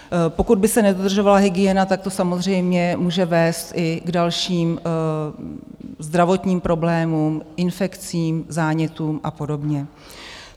Pokud by se nedodržovala hygiena, tak to samozřejmě může vést i k dalším zdravotním problémům, infekcím, zánětům a podobně.